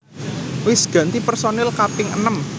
Wis ganti personil kaping enem